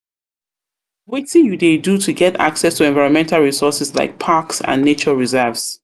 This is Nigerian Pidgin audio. um you dey do to get access to environmental resources like parks and nature reserves?